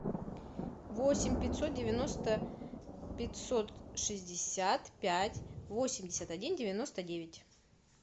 восемь пятьсот девяносто пятьсот шестьдесят пять восемьдесят один девяносто девять